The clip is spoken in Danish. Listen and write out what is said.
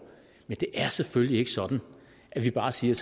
men det er selvfølgelig ikke sådan at vi bare siger